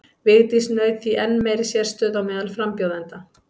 Vigdís naut því enn meiri sérstöðu á meðal frambjóðenda.